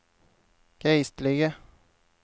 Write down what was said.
geistlige